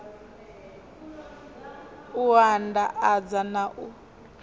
u and adza na u